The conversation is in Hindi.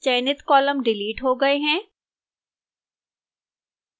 चयनित columns डिलीट हो गए हैं